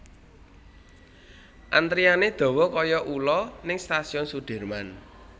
Antriane dowo koyo ulo ning Stasiun Sudirman